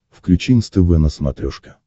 включи нств на смотрешке